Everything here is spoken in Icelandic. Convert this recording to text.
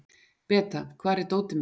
Beta, hvar er dótið mitt?